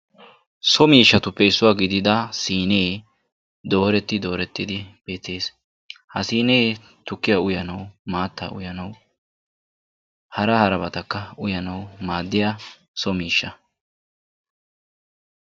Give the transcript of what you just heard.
So miishshatuppe issuwa gidida siinee dooretti doorettidi beettees. Ha siinee tukkiya uyanawu, maattaa uyanawu hara harabatakka uyanawu maaddiya so miishsha.